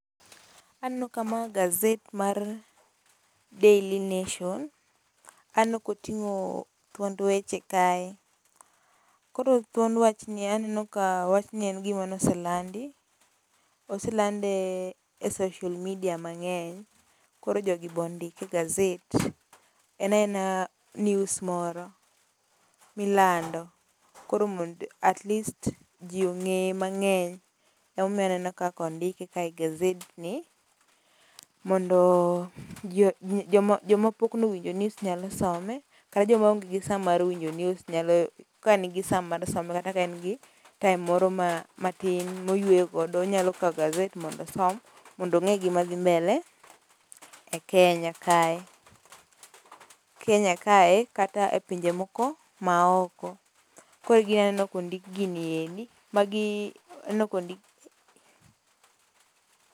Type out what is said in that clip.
Aneno ka ma gazet mar Daily Nation, aneno ka otingo thuond weche kae. Koro thuon wach ni en wach mabe oselandi, oselande e social media mangeny koro jogi bende ondike e gazet en aena news moro milando koro mondo atleas jii ongeye mangeny ema omiyo aneno ka ondike kae e gaset ni mondo jii joma jom pok nowinjo news nyalo some kata joma onge gi saa mar winjo news kanigi saa mar some kata ka en gi time moro matin moyweyo godo, onyalo kaw gaset mondo osom mondo onge gima dhi mbele kenya kae, Kenya kae kata e pinje moko maoko koro egima naneno ka ondik gigi eki, aneno ka ondik.